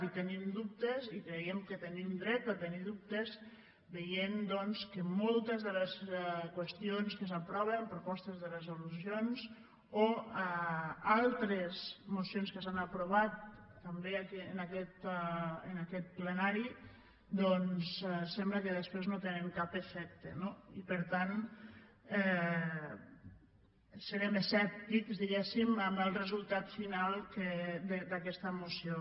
i en tenim dubtes i creiem que tenim dret a tenir ne dubtes veient que moltes de les qüestions que s’aproven propostes de resolucions o altres mocions que s’han aprovat també en aquest plenari sembla que després no tenen cap efecte no i per tant serem escèptics diguem ne en el resultat final d’aquesta moció